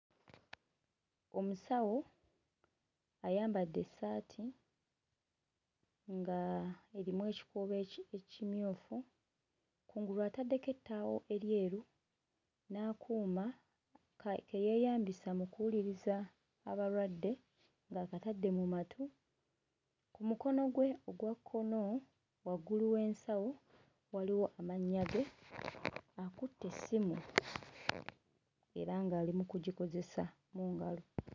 Omusawo ayambadde essaati nga erimu ekikuubo eki... ekimyufu. Kungulu ataddeko ettaawo eryeru n'akuuma ke yeeyambisa mu kuwuliriza abalwadde ng'akatadde mu matu. Ku mukono gwe ogwa kkono waggulu w'ensawo waliwo amannya ge, akutte essimu era ng'ali mu kugikozesa mu ngalo.